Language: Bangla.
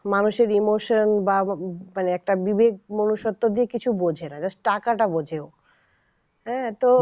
মানুষের emotion বা মানে একটা বিবেক মনুষত্ব দিয়ে কিছু বোঝেনা just টাকাটা বোঝে ও হ্যাঁ তো